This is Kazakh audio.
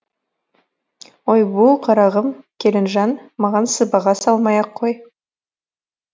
ой бу қарағым келінжан маған сыбаға салмай ақ қой